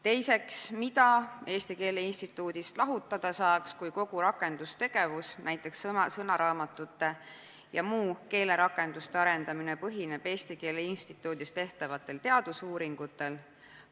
Teiseks, mida Eesti Keele Instituudist lahutada saaks, kui kogu rakendustegevus, näiteks sõnaraamatute ja muude keelerakenduste arendamine, põhineb Eesti Keele Instituudis tehtavatel teadusuuringutel?